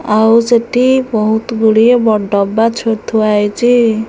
ଆଉ ସେଠି ବହୁତ ଗୁଡ଼ିଏ ବ ଡବା ଛୋ ଥୁଆ ହେଇଚି।